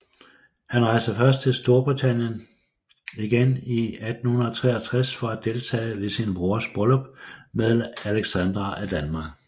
Hun rejste først til Storbritannien igen i 1863 for at deltage ved sin brors bryllup med Alexandra af Danmark